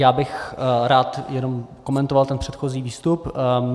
Já bych rád jenom komentoval ten předchozí výstup.